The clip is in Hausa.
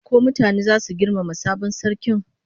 Ko mutane zasu girmama sabon sarkin?